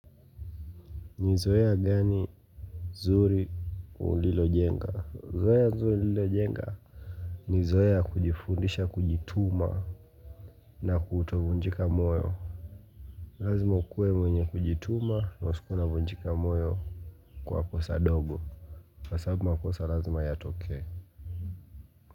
Ni zoea gani zuri ulilojenga Zoea zuri nililo jenga ni zoea ya kujifundisha kujituma na kutovunjika moyo Lazima ukuwe mwenye kujituma na usikuwe unavunjika moyo Kwa kosa dogo Kwa sababu makosa lazima yatokee.